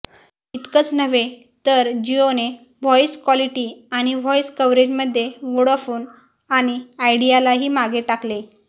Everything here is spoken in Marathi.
इतकंच नव्हे तर जिओने व्हॉईस क्वॉलिटी आणि व्हॉईस कव्हरेजमध्ये वोडाफोन आणि आयडियालाही मागे टाकलेय